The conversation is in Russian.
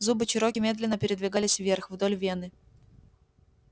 зубы чероки медленно передвигались вверх вдоль вены